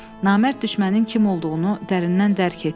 Namərd düşmənin kim olduğunu dərindən dərk etdi.